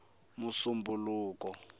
musumbunuko